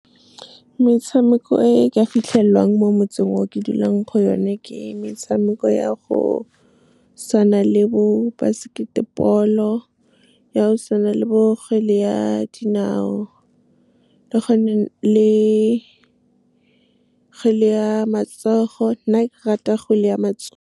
Metshameko e e ka fitlhelwang mo motseng o ke dulang go yone ke metshameko ya go tshwana le bo basketball-o, ya go tshwana le bo kgwele ya dinao, le kgwele ya matsogo. Nna ke rata kgwele ya matsogo.